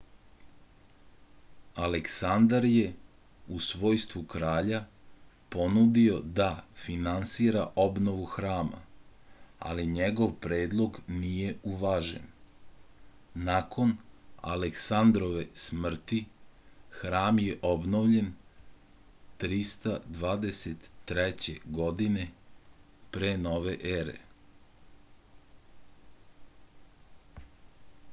aleksandar je u svojstvu kralja ponudio da finansira obnovu hrama ali njegov predlog nije uvažen nakon aleksandarove smrti hram je obnovljen 323. godine p n e